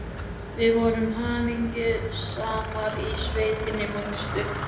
Við vorum hamingjusamar í sveitinni, manstu.